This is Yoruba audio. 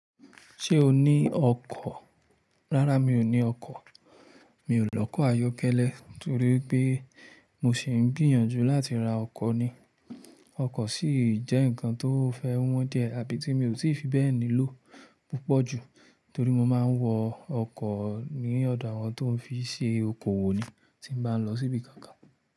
Ṣé o ní ọkọ̀? Rárá mi ò ní ọkọ̀, mi ò lọkọ̀ ayọ́kẹ́lẹ́ torí pé mo sì ń gbìyànjú láti ra ọkọ̀ ni. Ọkọ̀ sì jẹ́ nǹkan tó fẹ́ wọ́n díẹ̀ àbí tí mi ò sì fi bẹ́ẹ̀ nilò púpọ̀ jù torí mo máa ń wọ ọkọ̀ ní ọ̀dọ̀ àwọn tó ń fi ṣe okowò ni tí mo bá ń lọ síbi kan kan.